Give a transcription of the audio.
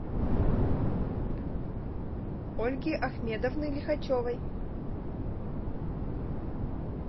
ольги ахмедовны лихачевой